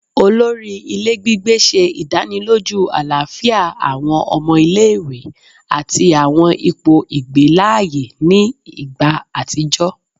Olori ile gbigbe ṣe idaniloju alafia awọn ọmọ ile-iwe ati awọn ipo igbe laaye ni igba atijọ